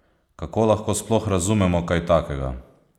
Kako lahko sploh razumemo kaj takega?